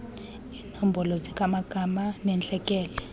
iimbono zikamagaba nentlekele